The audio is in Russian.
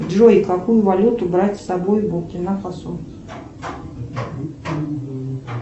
джой какую валюту брать с собой в буркина фасо